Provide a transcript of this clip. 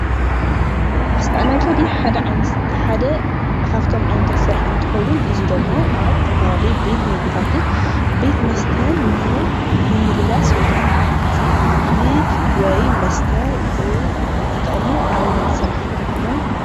ኣስተኣናጋዲ ሓደ ካብቶም ዓይነታት ስራሕ እንትኸውን፤ እዚ ደሞ ኣብ ዝተፈላለየ ቤት ምግቢታትን ቤት መስተን ንምምልላስ ወይ ከዓ ንምብፅፃሕ ምግቢ ወይ መስተ ዝጠቕሙ ዓይነት ስራሕታት እዮም፡፡